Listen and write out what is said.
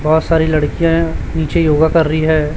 बहुत सारी लड़कियां नीचे योगा कर रही हैं।